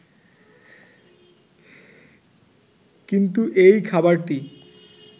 কিন্তু এই খাবারটি